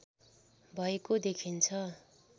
भएको देखिन्छ